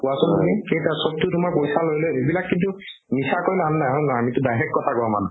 কোৱাচোন তুমি কেইটা চবটো তোমাৰ পইচা লৈ লৈ এইবিলাক কিন্তু মিছা কৈ লাভ নাই হয়নে নহয় আমিতো direct কথা কোৱা মানুহ